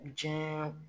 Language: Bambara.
Diɲɛɛ